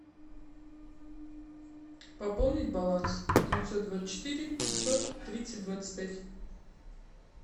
пополнить баланс девятьсот двадцать четыре пятьсот тридцать двадцать пять